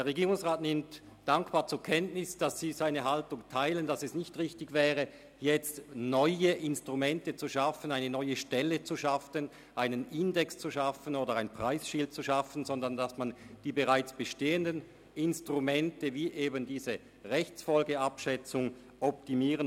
Der Regierungsrat nimmt dankbar zur Kenntnis, dass Sie seine Haltung teilen, dass es nicht richtig wäre, jetzt neue Instrumente, eine neue Stelle, einen Index oder ein Preisschild zu schaffen, sondern die bereits bestehenden Instrumente wie die Rechtsfolgenabschätzung zu optimieren.